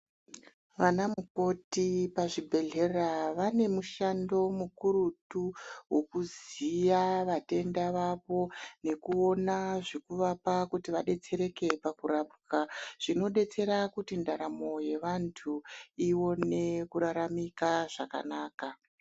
Ana mukoti pazvibhedhleya vabe mushando mukurutu wekuziya vatenda vavo nekuona Zvekuvapa kuti vadetsereke pakurapwa zvinodetsera kuti ndaramo yevantu ione kuraramika zvakanaka.